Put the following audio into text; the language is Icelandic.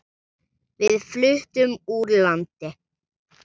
Við fluttum úr landi.